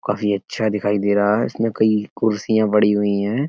काफी अच्छा दिखाई दे रहा है इसमें कई कुर्सिया बड़ी हुई हैं।